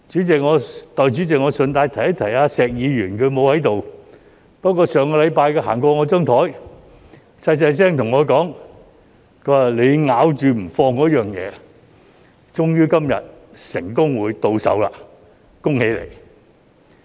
代理主席，我順便一提石議員——他不在席——不過，上星期他經過我的座位時，小聲對我說："你咬着不放的東西，終於今日成功到手，恭喜你！